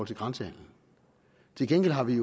til grænsehandelen til gengæld har vi